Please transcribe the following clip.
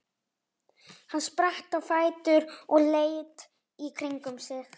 Hann spratt á fætur og leit í kringum sig.